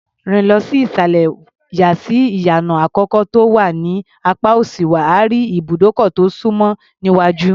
Rìn lọ sí ìsàlẹ̀, yà sí ìyànà àkọ́kọ́ tó wà ní apá òsì, wà á rí ibùdókọ̀ tó súnmọ́ níwájú.